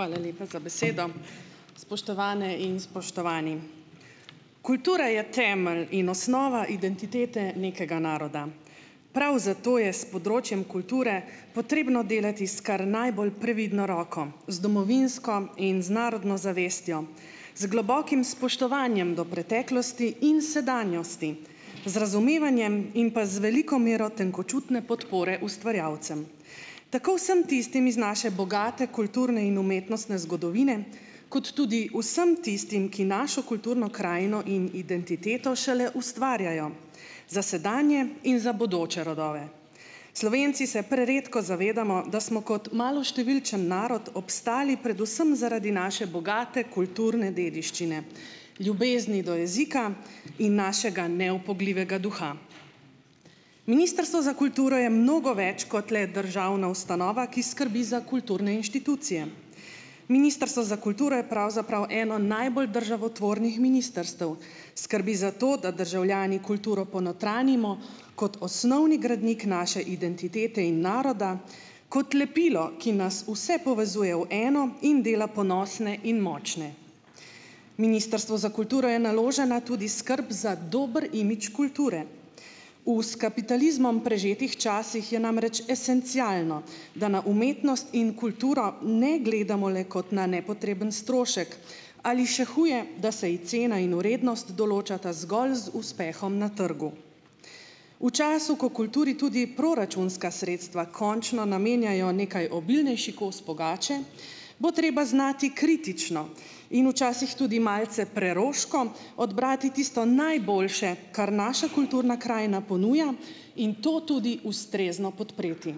Hvala lepa za besedo. Spoštovane in spoštovani! Kultura je temelj in osnova identitete nekega naroda. Prav zato je s področjem kulture potrebno delati s kar najbolj previdno roko, z domovinsko in z narodno zavestjo, z globokim spoštovanjem do preteklosti in sedanjosti, z razumevanjem in pa z veliko mero tenkočutne podpore ustvarjalcem. Tako vsem tistim iz naše bogate kulturne in umetnostne zgodovine kot tudi vsem tistim, ki našo kulturno krajino in identiteto šele ustvarjajo za sedanje in za bodoče rodove. Slovenci se preredko zavedamo, da smo kot maloštevilčen narod obstali predvsem zaradi naše bogate kulturne dediščine, ljubezni do jezika in našega neupogljivega duha. Ministrstvo za kulturo je mnogo več kot le državna ustanova, ki skrbi za kulturne inštitucije. Ministrstvo za kulturo je pravzaprav eno najbolj državotvornih ministrstev. Skrbi za to, da državljani kulturo ponotranjimo kot osnovni gradnik naše identitete in naroda, kot lepilo, ki nas vse povezuje v eno in dela ponosne in močne. Ministrstvu za kulturo je naložena tudi skrb za dober imidž kulture. V s kapitalizmom prežetih časih je namreč esencialno, da na umetnost in kulturo ne gledamo le kot na nepotreben strošek ali še huje, da se ji cena in vrednost določata zgolj z uspehom na trgu. V času, ko kulturi tudi proračunska sredstva končno namenjajo nekaj obilnejši kos pogače, bo treba znati kritično in včasih tudi malce preroško odbrati tisto najboljše, kar naša kulturna krajina ponuja, in to tudi ustrezno podpreti.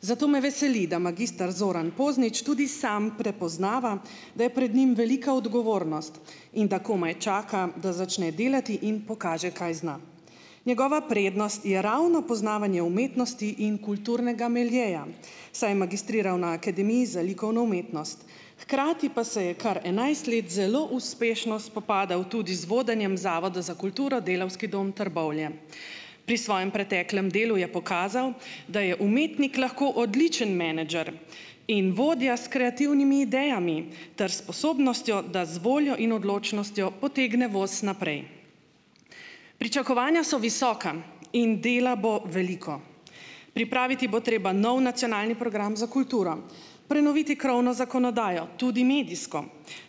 Zato me veseli, da magister Zoran Poznič tudi sam prepoznava, da je pred njim velika odgovornost in da komaj čaka, da začne delati in pokaže, kaj zna. Njegova prednost je ravno poznavanje umetnosti in kulturnega miljeja, saj je magistriral na Akademiji za likovno umetnost. Hkrati pa se je kar enajst let zelo uspešno spopadal tudi z vodenjem Zavoda za kulturo Delavski dom Trbovlje. Pri svojem preteklem delu je pokazal, da je umetnik lahko odličen menedžer in vodja s kreativnimi idejami ter sposobnostjo, da z voljo in odločnostjo potegne voz naprej. Pričakovanja so visoka in dela bo veliko. Pripraviti bo treba nov nacionalni program za kulturo, prenoviti krovno zakonodajo, tudi medijsko,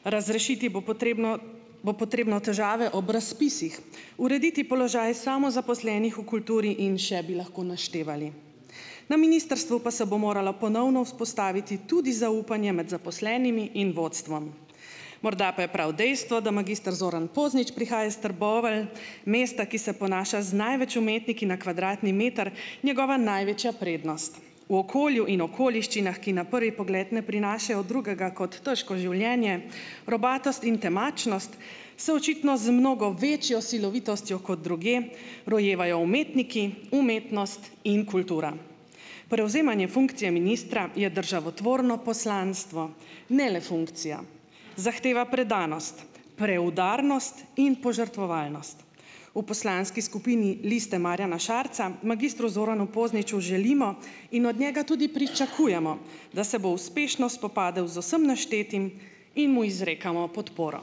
razrešiti bo potrebno bo potrebno težave ob razpisih, urediti položaj samozaposlenih v kulturi in še bi lahko naštevali. Na ministrstvu pa se bo moralo ponovno vzpostaviti tudi zaupanje med zaposlenimi in vodstvom. Morda pa je prav dejstvo, da magister Zoran Poznič prihaja iz Trbovelj, mesta, ki se ponaša z največ umetniki na kvadratni meter, njegova največja prednost. V okolju in okoliščinah, ki na prvi pogled ne prinašajo drugega kot težko življenje, robatost in temačnost, se očitno z mnogo večjo silovitostjo kot drugje rojevajo umetniki, umetnost in kultura. Prevzemanje funkcije ministra je državotvorno poslanstvo, ne le funkcija, zahteva predanost, preudarnost in požrtvovalnost. V poslanski skupini Liste Marjana Šarca magistru Zoranu Pozniču želimo in od njega tudi pričakujemo, da se bo uspešno spopadel z vsem naštetim, in mu izrekamo podporo.